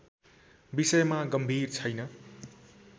विषयमा गम्भीर छैन